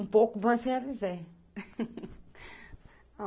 Um pouco, mas realizei.